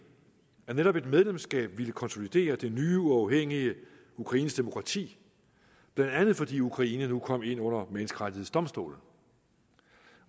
at netop et medlemskab ville konsolidere det nye uafhængige ukrainske demokrati blandt andet fordi ukraine nu kom ind under menneskerettighedsdomstolen